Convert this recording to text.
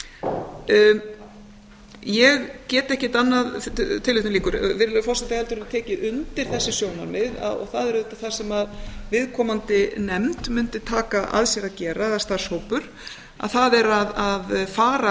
virðulegi forseti ég get ekkert annað en tekið undir þessi sjónarmið og það er auðvitað það sem viðkomandi nefnd mundi taka að sér að gera eða starfshópur það er að fara